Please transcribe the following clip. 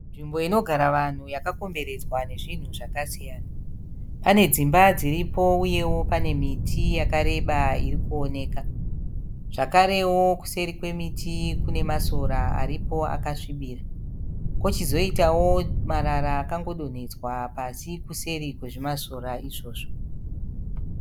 Nzvimbo inogara vanhu yakakomberedzwa nezvinhu zvakasiyana. Pane dzimba dziripo uyewo pane miti yakareba iri kuoneka. Zvakarewo kuseri kwemuti kune masora aripo akasvibira kochizoitawo marara akangodonhedzwa pasi kuseri kwezvimasora izvozvo.